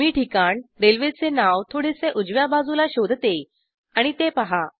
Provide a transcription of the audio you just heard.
मी ठिकाण रेल्वेचे नाव थोडेसे उजव्या बाजूला शोधते आणि ते पहा